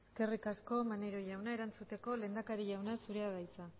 eskerrik asko maneiro jauna erantzuteko lehendakari jauna zurea da hitza